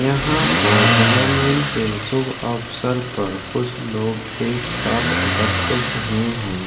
यहाँ पर जन्मदिन के शुभ अवसर पर कुछ लोग एक साथ एकत्रित हुए हैं।